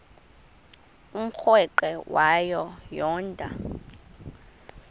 umrweqe wayo yoonda